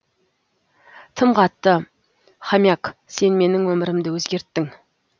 тым қатты хомяк сен менің өмірімді өзгерттің